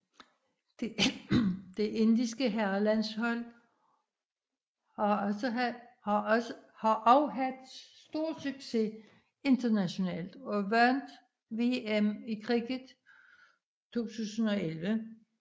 Det indiske herrelandshold har også haft stor succes internationalt og vandt VM i cricket 2011